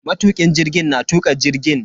Matukin jirgin na tuka jirgin.